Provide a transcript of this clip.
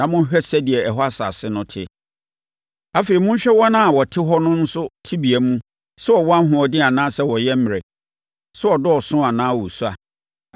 na monhwɛ sɛdeɛ ɛhɔ asase no te; afei, monhwɛ wɔn a wɔte hɔ no nso tebea mu sɛ wɔwɔ ahoɔden anaa wɔyɛ mmerɛ, sɛ wɔdɔɔso anaa wɔsua